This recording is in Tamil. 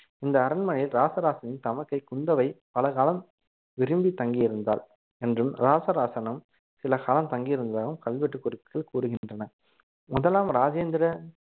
இந்த அரண்மனையில் ராச ராசனின் தமக்கை குந்தவை பல காலம் விரும்பி தங்கி இருந்தாள் என்றும் ராசராசனும் சில காலம் தங்கியிருந்ததாகவும் கல்வெட்டு குறிப்புகள் கூறுகின்றன முதலாம் ராஜேந்திர